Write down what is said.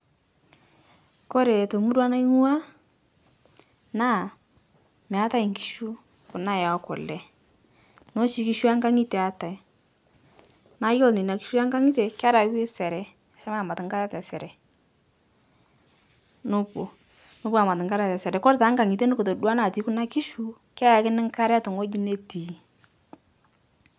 Kore te murua naing'ua naa meitae nkishu kuna ekule noshi nkishu eenkang'ite eatae, naa yuolo neina nkishu enkang'ite kerewi sere meshomo aamat nkare te sere, nopo nopo aamat nkare te sere, kore te nkang'ite nukutodoa natii kuna nkishu keyekini nkare te ng'oji netii.